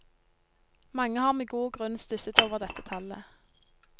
Mange har med god grunn stusset over dette tallet.